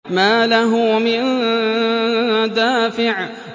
مَّا لَهُ مِن دَافِعٍ